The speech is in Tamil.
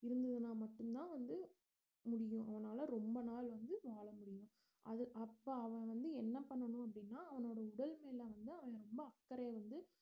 இருந்ததுன்னா மட்டும்தான் வந்து முடியும் அவனால ரொம்ப நாள் வந்து வாழ முடியும் அது அப்ப அவன்வந்து என்ன பண்ணனும் அப்படின்னா அவனோட உடல் மேல வந்து அவன் ரொம்ப அக்கறை வந்து